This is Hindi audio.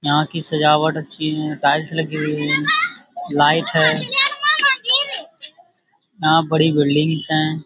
यहाँ की सजावट अच्छी है टाइल्स लगी है लाइट है यहाँ बड़ी बिल्डिंगस है।